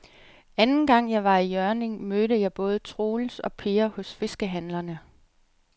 Anden gang jeg var i Hjørring, mødte jeg både Troels og Per hos fiskehandlerne.